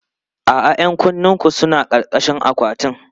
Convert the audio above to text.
A'a, 'yan kunnenku suna ƙarƙashin akwatin.